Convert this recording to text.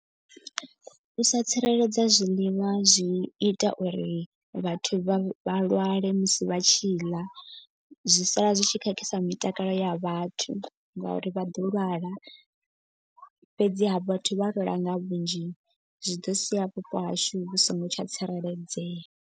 U sa tsireledza ha zwiḽiwa zwi ita uri vhathu vha vha lwale musi vha tshi ḽa. Zwi sala zwi tshi khakhisa mitakalo ya vhathu ngauri vha ḓo lwala. Fhedzi ha vhathu vha lwala nga vhunzhi zwi ḓo sia vhupo hashu vhu so ngo tsha tsireledzea.